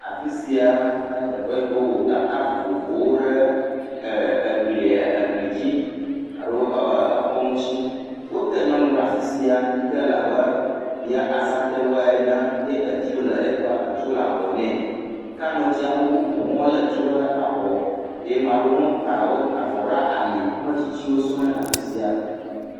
Afisia anye teƒe si wowɔ tata vovovowo ɖi, e e e e gli dzi alo exɔ ŋuti. Wote nyɔnu ɖe afisia yike le abe Yaa Asantewaa ene ye etu le, etu le abɔ nɛ. Ke ame tsi me ʋu ŋu wole tu ɖe abɔ ye ma ɖewo hã ta ta avɔ ɖe ali. Ame tsitsiwo sɔ le afisia.